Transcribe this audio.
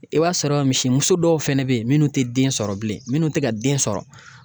I b'a sɔrɔ misimuso dɔw fɛnɛ be yen minnu te den sɔrɔ bilen minnu tɛ ka den sɔrɔ